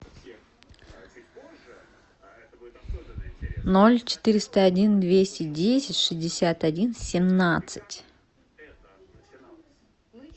ноль четыреста один двести десять шестьдесят один семнадцать